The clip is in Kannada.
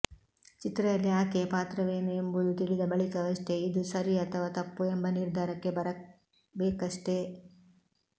ಚಿತ್ರದಲ್ಲಿ ಆಕೆಯ ಪಾತ್ರವೇನು ಎಂಬುದು ತಿಳಿದ ಬಳಿಕವಷ್ಟೇ ಇದು ಸರಿ ಅಥವ ತಪ್ಪು ಎಂಬ ನಿರ್ಧಾರಕ್ಕೆ ಬರಬೇಕಷ್ಟೇ